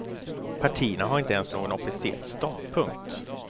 Partierna har inte ens någon officiell ståndpunkt.